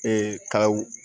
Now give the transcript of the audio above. Ee kaw